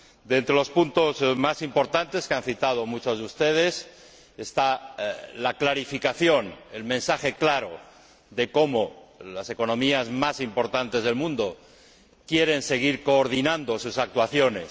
Entre los puntos más importantes, que han citado muchos de ustedes, está la clarificación, el mensaje claro de cómo las economías más importantes del mundo quieren seguir coordinando sus actuaciones.